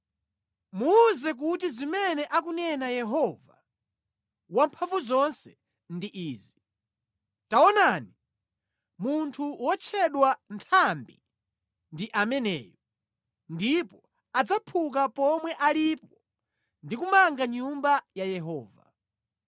Muwuze kuti zimene akunena Yehova Wamphamvuzonse ndi izi: ‘Taonani, munthu wotchedwa Nthambi ndi ameneyu, ndipo adzaphuka pomwe alipo ndi kumanga Nyumba ya Yehova.